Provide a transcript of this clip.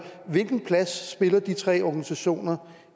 hvilken plads spiller de tre organisationer